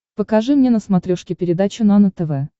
покажи мне на смотрешке передачу нано тв